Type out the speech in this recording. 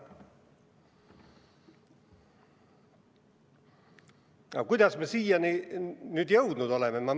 Aga kuidas me siiani jõudnud oleme?